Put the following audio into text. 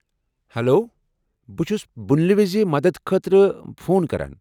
hello, بہٕ چُھس بُنیلہِ وزِ مدتھ خٲطرٕ فون کران